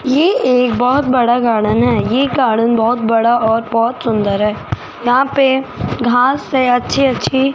ये एक बोहोत बड़ा गार्डन है ये गार्डन बहोत बड़ा और बोहोत सुंदर है यहां पे घास है अच्छी अच्छी।